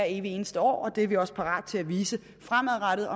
evig eneste år og det er vi også parat til at vise fremadrettet